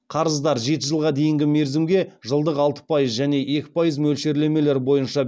қарыздар жеті жылға дейінгі мерзімге жылдық алты пайыз және екі пайыз мөлшерлемелер бойынша